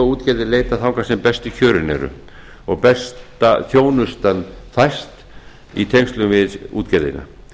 kaupskipaútgerðir leita þangað sem bestu kjörin eru og besta þjónustan fæst í tengslum við útgerðina